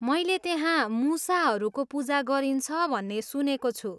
मैले त्यहाँ मुसाहरूको पूजा गरिन्छ भन्ने सुनेको छु!